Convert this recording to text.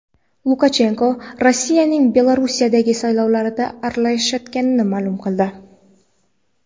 Lukashenko Rossiyaning Belarusdagi saylovlarga aralashayotganini ma’lum qildi.